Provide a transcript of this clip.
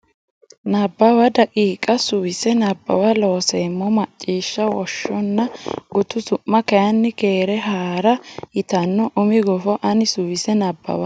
Nabbawa daqiiqa Suwise Nabbawa Looseemmo Macciishsha Woshshonna gutu su ma kayinni Keere Haa ra yitanno umi gufo ani suwise Nabbawa.